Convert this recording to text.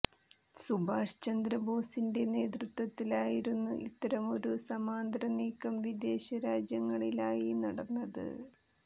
സുഭാസ് ചന്ദ്ര ബോസിന്റെ നേതൃത്വത്തിലായിരുന്നു ഇത്തരമൊരു സമാന്തര നീക്കം വിദേശ രാജ്യങ്ങളിലായി നടന്നത്